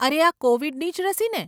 અરે આ કોવિડની જ રસી ને?